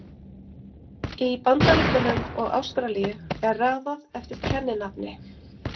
Í Bandaríkjunum og Ástralíu er raðað eftir kenninafni.